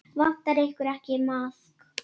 Vantar ykkur ekki maðk?